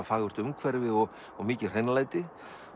fagurt umhverfi og mikið hreinlæti